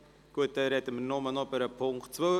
Also sprechen wir nur noch über die Ziffer 2.